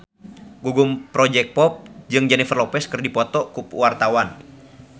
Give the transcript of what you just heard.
Gugum Project Pop jeung Jennifer Lopez keur dipoto ku wartawan